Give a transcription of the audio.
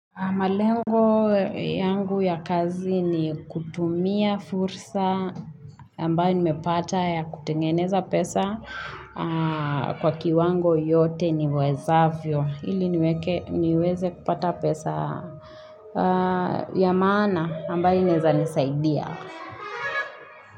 Malengo yangu ya kazi ni kutumia fursa ambayo nimepata ya kutengeneza pesa kwa kiwango yote niwezavyo Hili niweze kupata pesa ya maana ambayo inaezanisaidia.